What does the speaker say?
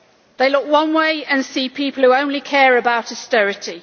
They look one way and see people who only care about austerity.